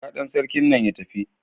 Kira dan sarkin nan ya tafi.